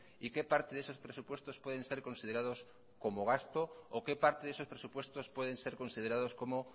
y qué parte de esos presupuestos pueden ser considerados como gasto o qué parte de esos presupuestos pueden ser considerados como